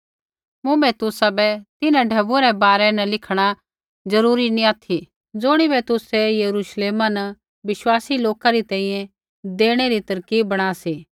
मुँभै तुसाबै तिन्हां ढैबुऐ रै बारै न लिखणा जरूरी नैंई ऑथि ज़ुणिबै तुसै यरुश्लेमा न विश्वासी लोका री तैंईंयैं देणै री तरकीब बणा सी